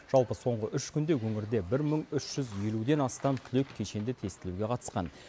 жалпы соңғы үш күнде өңірде бір мың үш жүз елуден астам түлек кешенді тестілеуге қатысқан